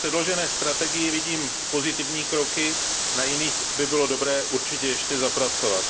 V předložené strategii vidím pozitivní kroky, na jiných by bylo dobré určitě ještě zapracovat.